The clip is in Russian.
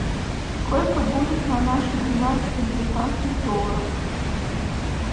сколько будет на наши двенадцать американских долларов